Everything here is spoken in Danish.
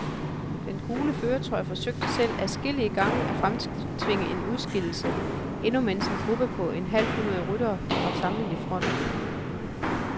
Den gule førertrøje forsøgte selv adskillige gange at fremtvinge en udskillelse, endnu mens en gruppe på et halvt hundrede ryttere var samlet i front.